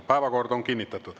Päevakord on kinnitatud.